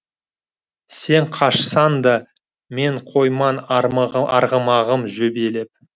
сен қашсаң да мен қойман арғымағым жебелеп